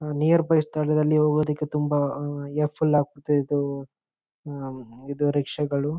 Near by ಸ್ಥಳದಲ್ಲಿ ಹೋಗೋದಿಕ್ಕೆ ತುಂಬಾ ಇದೆ ಹ್ಮ್ಮ್ಮ್ ಇದು ರಿಕ್ಷಾಗಳು.